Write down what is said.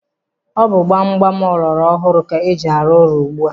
Ọ bụ gbam gbam ọlọrọ hụrụ ka eji arụ ụlọ ugbu a.